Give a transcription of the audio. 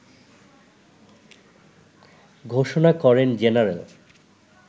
ঘোষণা করেন জেনারেল